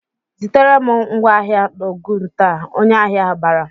"Zitere m ngwá ahịa n'Ogun taa!" Onye ahịa ahụ bara.